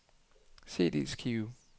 CD-skive